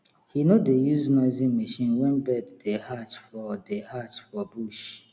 he no dey use noisy machine when bird dey hatch for dey hatch for bush